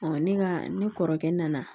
ne ka ne kɔrɔkɛ nana